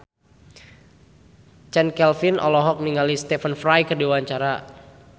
Chand Kelvin olohok ningali Stephen Fry keur diwawancara